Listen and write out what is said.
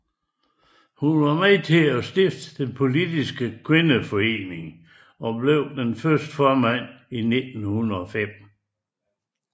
Hun var med til at stifte Politisk Kvindeforening og blev dens første formand i 1905